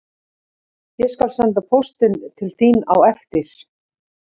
Ég skal senda póstinn til þín á eftir